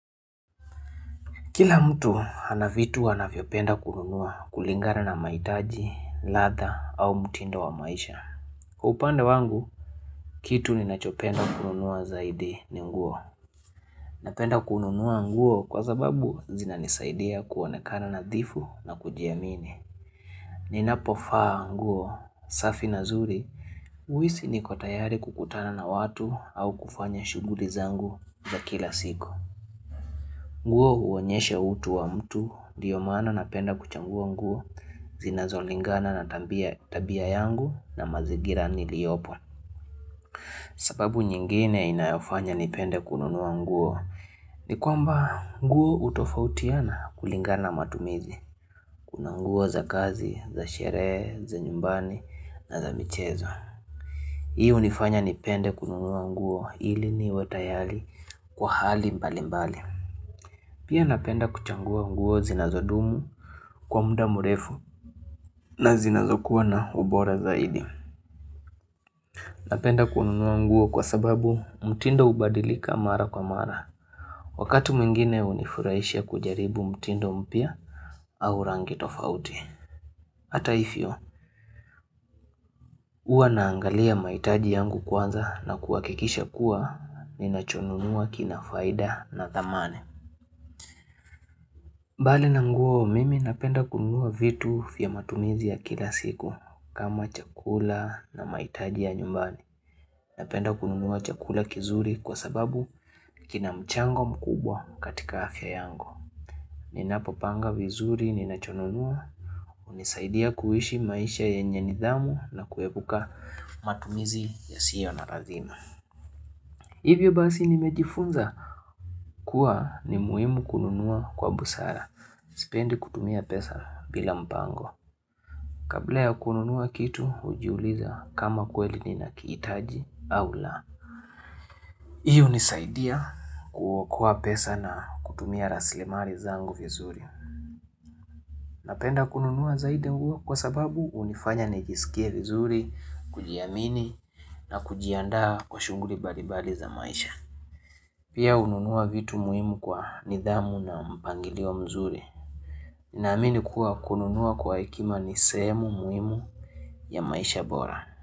Kila mtu hana vitu wanavyopenda kununua kulingana na mahitaji, ladha au mtindo wa maisha. Kwa upande wangu, kitu ninachopenda kununua zaidi ni nguo. Napenda kununua nguo kwa sababu zinanisaidia kuonekana nadhifu na kujiamini. Ninapovaa nguo, safi na zuri, huisi niko tayari kukutana na watu au kufanya shughuli zangu za kila siku. Nguo huonyeshe utu wa mtu ndiyo maana napenda kuchagua nguo zinazolingana na tabia yangu na mazigira niliopo. Sababu nyingine inayofanya nipende kununua nguo ni kwamba nguo utofautiana kulingana matumizi. Kuna nguo za kazi, za sherehe, za nyumbani na za mchezo. Hi hunifanya nipende kununua nguo ili niwe tayari kwa hali mbalimbali. Pia napenda kuchagua nguo zinazodumu kwa muda mrefu na zinazokuwa na ubora zaidi Napenda kununua nguo kwa sababu mtindo ubadilika mara kwa mara Wakati mwingine hunifurahisha kujaribu mtindo mpya au rangi tofauti Hata hivyo, huwa naangalia mahitaji yangu kwanza na kuhakikisha kuwa ninachonunua kina faida na thamani mbali na nguo mimi napenda kununua vitu vya matumizi ya kila siku kama chakula na mahitaji ya nyumbani. Napenda kununua chakula kizuri kwa sababu kina mchango mkubwa katika afya yangu. Ninapopanga vizuri ninachonunua hunisaidia kuishi maisha yenye nidhamu na kuepuka matumizi yasiyo na lazima. Hivyo basi nimejifunza kuwa ni muhimu kununua kwa busara. Sipendi kutumia pesa bila mpango. Kabla ya kununua kitu ujiuliza kama kweli ninakiitaji au la. Iyo hunisaidia kuokoa pesa na kutumia rasilimali zangu vizuri. Napenda kununua zaidi nguo kwa sababu hunifanya nijisikia vizuri, kujiamini na kujiandaa kwa shughuli mbalimbali za maisha. Pia hununua vitu muhimu kwa nidhamu na mpangili mzuri. Naamini kuwa kununua kwa hekima ni sehemu muhimu ya maisha bora.